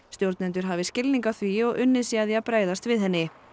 stjórnendur hafi skilning á því og unnið sé að því að bregðast við henni